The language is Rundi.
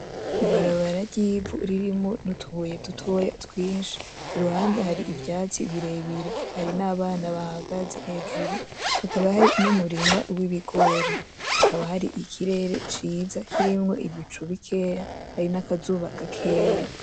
Ibarabara ry’ivu ririmo n’utubuye tutoya twinshi. Iruhande hari ivyatsi birebire, hari n’abana bahagaze hejuru hakaba hari n’umurima w’ibigori. Hakaba hari ikirere ciza kirimo ibicu bikeya hari n’akazuba gakeya.